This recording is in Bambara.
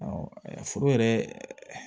foro yɛrɛ